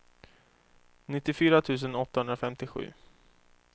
nittiofyra tusen åttahundrafemtiosju